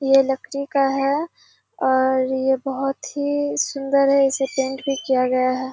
ये लकड़ी का है और ये बहुत ही सूंदर है। इसे पेंट भी किया गया है।